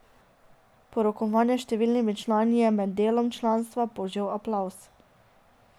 Po rokovanju s številnimi člani je med delom članstva požel aplavz.